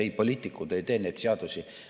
Ei, poliitikud ei tee neid seadusi.